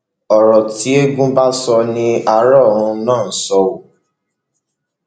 ọrọ tí eégún bá sọ ní ara ọrun ló sọ ọ